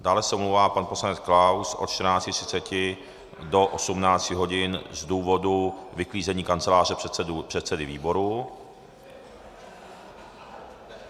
Dále se omlouvá pan poslanec Klaus od 14.30 do 18 hodin z důvodu vyklízení kanceláře předsedy výboru.